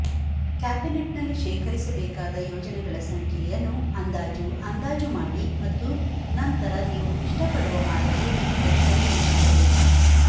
ಕ್ಯಾಬಿನೆಟ್ನಲ್ಲಿ ಶೇಖರಿಸಬೇಕಾದ ಯೋಜನೆಗಳ ಸಂಖ್ಯೆಯನ್ನು ಅಂದಾಜು ಅಂದಾಜು ಮಾಡಿ ಮತ್ತು ನಂತರ ನೀವು ಇಷ್ಟಪಡುವ ಮಾದರಿಯಲ್ಲಿ ಅವು ಸರಿಹೊಂದುತ್ತವೆ